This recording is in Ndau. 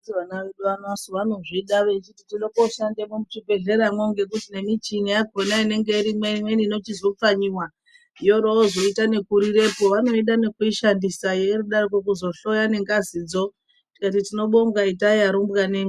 Anditi vana vedu vano vanozvidasu vanozvida vachiti toda koshanda muzvibhehlera mwo ngekuti ngemichini yakona imweni inochizoita nekupfanyiwa yorozoita nekurirapo vanoida nekuishandisa vorodaroko kuzohloya ngengazi dzo tikati tinobonga itai arumbwane mwi.